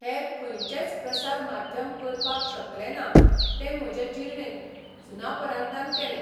हेर खंयचेंच प्रसार माध्यम करपाक शकलें ना तें म्हजें जिर्णेत सुनापरान्तान केलें.